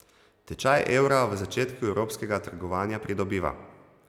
Tečaj evra v začetku evropskega trgovanja pridobiva.